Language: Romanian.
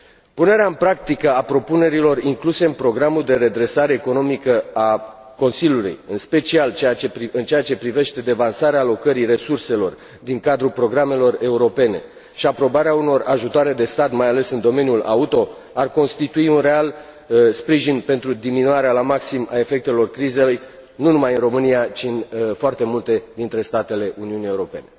Punerea în practică a propunerilor incluse în programul de redresare economică al Consiliului, în special în ceea ce privește devansarea alocării resurselor din cadrul programelor europene și aprobarea unor ajutoare de stat mai ales în domeniul auto, ar constitui un real sprijin pentru diminuarea la maxim a efectelor crizei, nu numai în România, ci în foarte multe dintre statele Uniunii Europene.